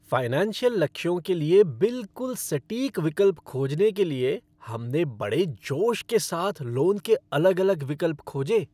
Financial लक्ष्यों के लिए बिल्कुल सटीक विकल्प खोजने के लिए हम ने बड़े जोश के साथ लोन के अलग अलग विकल्प खोजे।